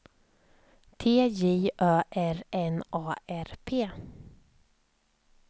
T J Ö R N A R P